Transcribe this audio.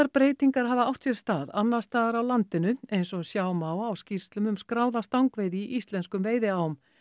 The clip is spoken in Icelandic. breytingar hafa átt sér stað annars staðar á landinu eins og sjá má á skýrslum um skráða stangveiði í íslenskum veiðiám